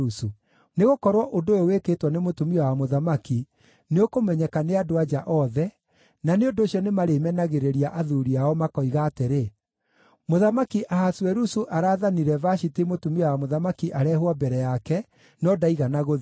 Nĩgũkorwo ũndũ ũyũ wĩkĩtwo nĩ mũtumia wa mũthamaki nĩũkũmenyeka nĩ andũ-a-nja othe, na nĩ ũndũ ũcio nĩmarĩmenagĩrĩria athuuri ao makoiga atĩrĩ, ‘Mũthamaki Ahasuerusu araathanire Vashiti mũtumia wa mũthamaki arehwo mbere yake, no ndaigana gũthiĩ.’